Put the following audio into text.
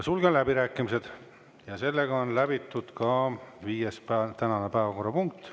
Sulgen läbirääkimised ja läbitud on ka tänane viies päevakorrapunkt.